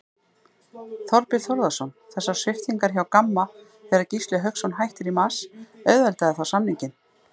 Þorbjörn Þórðarson: Þessar sviptingar hjá Gamma þegar Gísli Hauksson hættir í mars, auðveldaði það samninginn?